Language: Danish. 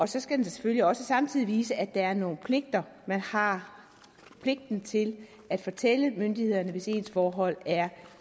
så skal den selvfølgelig også samtidig vise at der er nogle pligter at man har pligten til at fortælle myndighederne hvis ens forhold er